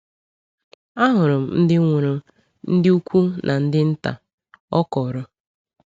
“Ahụrụ m ndị nwụrụ, ndị ukwu na ndị ndị nta,” ọ kọọrọ.